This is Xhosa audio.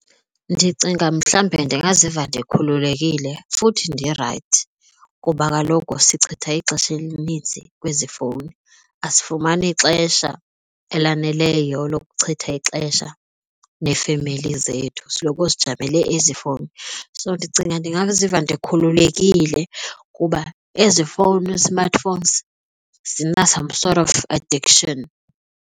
Ndicinga mhlawumbe ndingaziva ndikhululekile futhi ndirayithi kuba kaloku sichitha ixesha elininzi kwezi fowuni asifumani xesha elaneleyo lokuchitha ixesha neefemeli zethu, sisiloko sijamele ezi fowuni. So ndicinga ndingaziva ndikhululekile kuba ezi fowuni smartphones zina-some sort of addiction.